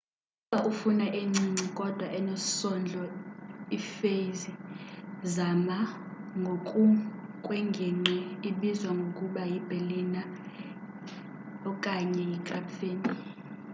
ukuba ufuna encinci kodwa enesondlo ipheysri zama ngokukwengingqi ibizwa ngokuba yiberliner yipfannkuchen okanye yikrapfen